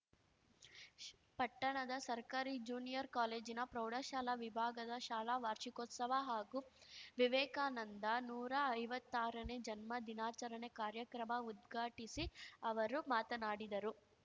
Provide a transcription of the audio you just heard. ಶ್ ಪಟ್ಟಣದ ಸರ್ಕಾರಿ ಜೂನಿಯರ್‌ ಕಾಲೇಜಿನ ಪ್ರೌಢಶಾಲಾ ವಿಭಾಗದ ಶಾಲಾ ವಾರ್ಷಿಕೋತ್ಸವ ಹಾಗೂ ವಿವೇಕಾನಂದ ನೂರಾ ಐವತ್ತಾರನೇ ಜನ್ಮ ದಿನಾಚರಣೆ ಕಾರ್ಯಕ್ರಮ ಉದ್ಘಾಟಿಸಿ ಅವರು ಮಾತನಾಡಿದರು